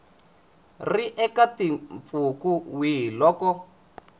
ri eka mpfhuka wihi loko